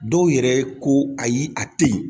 Dɔw yɛrɛ ko ayi a tɛ ye